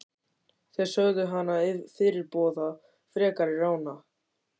Þeir sögðu hana fyrirboða frekari rána.